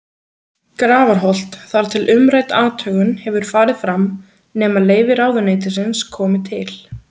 Grafarholt, þar til umrædd athugun hefur farið fram, nema leyfi ráðuneytisins komi til.